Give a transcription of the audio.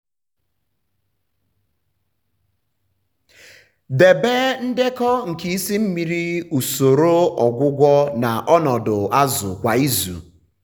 debe ndekọ nke isi mmiri usoro ọgwụgwọ na ọnọdụ azụ kwa izu.